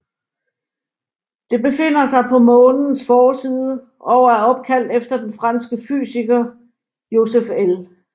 Det befinder sig på Månens forside og er opkaldt efter den franske fysiker Joseph L